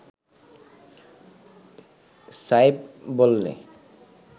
সায়েব বললে